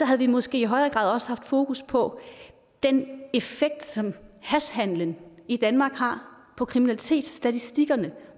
havde vi måske i højere grad også haft fokus på den effekt som hashhandelen i danmark har på kriminalitetsstatistikkerne